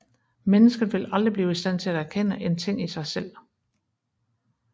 Mennesket vil aldrig blive i stand til at erkende en ting i sig selv